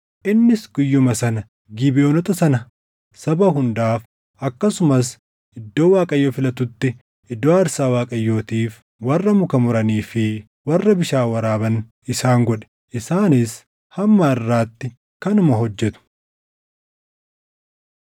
Innis guyyuma sana Gibeʼoonota sana saba hundaaf, akkasumas iddoo Waaqayyo filatutti iddoo aarsaa Waaqayyootiif warra muka muranii fi warra bishaan waraaban isaan godhe. Isaanis hamma harʼaatti kanuma hojjetu.